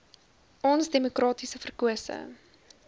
ons demokraties verkose